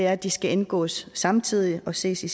at de skal indgås samtidig og ses i